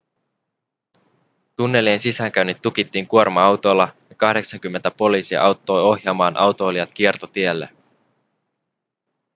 tunnelien sisäänkäynnit tukittiin kuorma-autoilla ja 80 poliisia auttoi ohjaamaan autoilijat kiertotielle